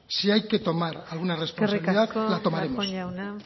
si hay que tomar alguna responsabilidad la tomaremos eskerrik asko darpón jauna